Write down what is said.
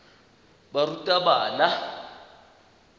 barutabana